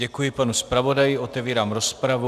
Děkuji panu zpravodaji, otevírám rozpravu.